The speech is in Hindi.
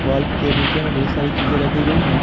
बल्ब के नीचे में ढेर सारी चीज रखी गई हैं।